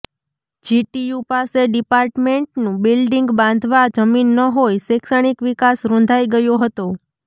GTU પાસે ડિપાર્ટમેન્ટનું building બાંધવા જમીન ન હોય શૈક્ષણિક વિકાસ રુંધાઈ ગયો હતો